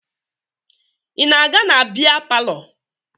Ị na-aga na bịa palọ?